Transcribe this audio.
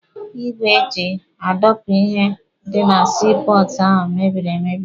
Igwe eji adọpụ ihe dị na sii pọọtụ ahụ mebiri emebi.